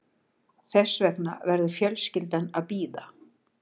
Þess vegna verður fjölskyldan að bíða